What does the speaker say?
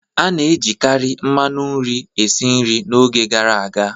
A na-ejikarị mmanu nri esi nri n'oge gara aga.